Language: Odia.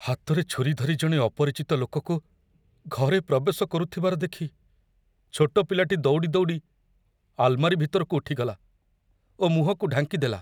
ହାତରେ ଛୁରୀ ଧରି ଜଣେ ଅପରିଚିତ ଲୋକକୁ ଘରେ ପ୍ରବେଶ କରୁଥିବାର ଦେଖି ଛୋଟ ପିଲାଟି ଦୌଡ଼ି ଦୌଡ଼ି ଆଲମାରୀ ଭିତରକୁ ଉଠିଗଲା ଓ ମୁହଁକୁ ଢାଙ୍କି ଦେଲା।